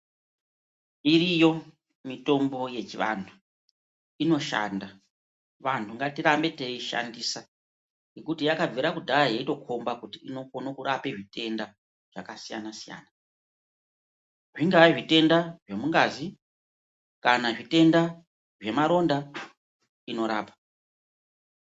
Iriyo mitombo yechivantu inoshanda. Vantu ngatirambe teiishandise ngekuti yakabvire kudhaya yeindokomba kuti inokone kurapa zvitenda zvakasiyana siyana. Zvingava zvitenda zvemungazi kana zvitenda zvemaronda ,inorapa.